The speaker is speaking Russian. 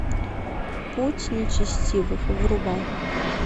путь нечестивых врубай